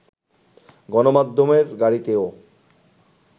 গণমাধ্যমের গাড়িতেও